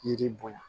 Yiri bonya